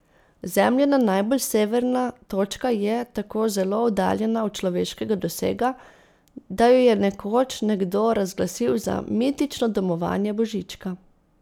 Zemljina najbolj severna točka je tako zelo oddaljena od človeškega dosega, da jo je nekoč nekdo razglasil za mitično domovanje Božička.